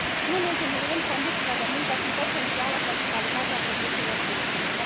Nu în ultimul rând, condițiile de muncă sunt esențiale pentru calitatea serviciilor turistice.